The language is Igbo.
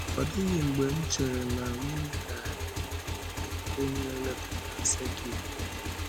Ọ dịghị mgbe m chere na m ga-adị ndụ hụ onye nlekọta sẹ́kit ọzọ.